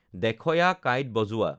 দেখয়া kite বজোৱা